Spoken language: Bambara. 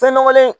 Fɛn nɔgɔlen